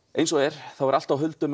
eins og er er allt á huldu